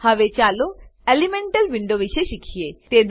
હવે ચાલો elemental window વિશે શીખીએ